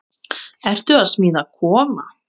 Ertu að smíða kofa?